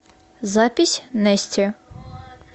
запись нэсти